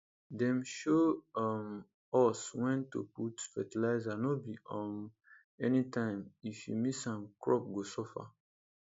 dem show um us when to put fertilizer no be um anytime if you miss am crop go suffer